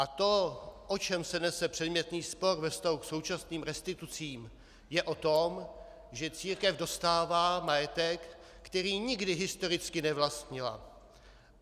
A to, o čem se nese předmětný spor ve vztahu k současným restitucím, je o tom, že církev dostává majetek, který nikdy historicky nevlastnila.